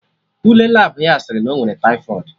Ule Labụ ya sịrị na ọ nwere taifọịd